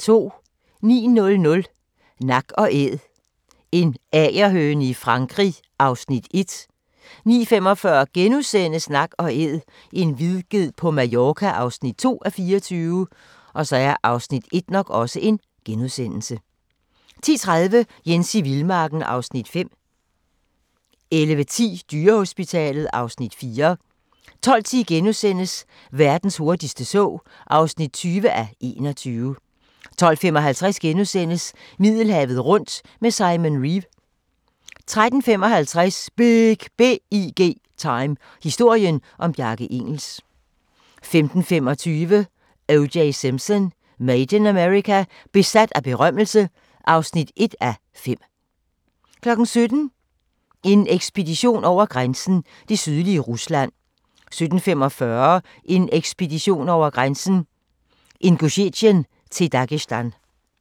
09:00: Nak & Æd – en agerhøne i Frankrig (1:24) 09:45: Nak & Æd – en vildged på Mallorca (2:24)* 10:30: Jens i vildmarken (Afs. 5) 11:10: Dyrehospitalet (Afs. 4) 12:10: Verdens hurtigste tog (20:21)* 12:55: Middelhavet rundt med Simon Reeve (2:4)* 13:55: BIG Time – historien om Bjarke Ingels 15:25: O.J. Simpson: Made in America – besat af berømmelse (1:5) 17:00: En ekspedition over grænsen: Det sydlige Rusland 17:45: En ekspedition over grænsen: Ingusjetien til Dagestan